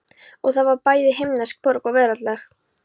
Og það var bæði himnesk borg og veraldleg.